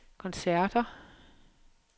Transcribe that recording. koncerter